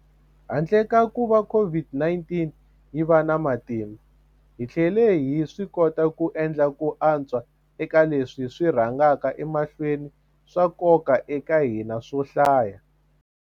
Handle ka kuva COVID-19 yi va na matimba, hi tlhele hi swikota ku endla ku antswa eka leswi swi rhangaka emahlweni swa nkoka eka hina swo hlaya.